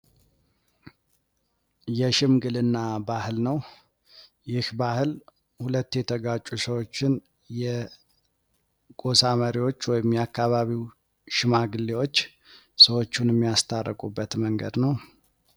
የሽምግልና ባህል ነው ፤ ይህ ባህል ሁለት የተጋጩ ሰዎችን የጎሳ መሪዎች ወይም የአካባቢው ሽማግሌዎች ሰዎሹን የሚያስታርቁበት መንገድ ነው።